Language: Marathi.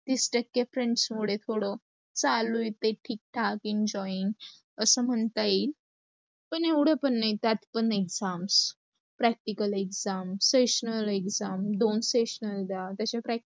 तीस टक्के friends थोड चालू आहे ठीक ठाक enjoying असं म्हणता येईल. पण एवढ पण नाही त्यात पण exams, practical exams, seasonal exams दोन seasonal द्या.